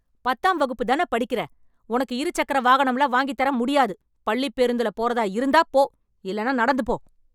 பத்தாம் வகுப்பு தான படிக்கிற, உனக்கு இரு சக்கர வாகனம்லாம் வாங்கித் தர முடியாது. பள்ளிப் பேருந்துல போறதா இருந்தா போ, இல்லென்னா நடந்துப் போ.